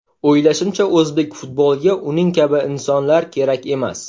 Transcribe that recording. O‘ylashimcha, o‘zbek futboliga uning kabi insonlar kerak emas.